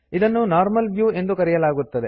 ಇದನ್ನು normal view ಎಂದು ಕರೆಯಲಾಗುತ್ತದೆ